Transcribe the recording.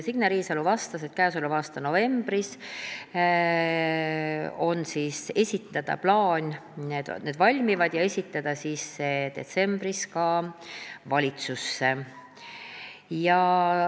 Signe Riisalo vastas, et käesoleva aasta novembris need valmivad ja on plaan esitada need detsembris valitsusse.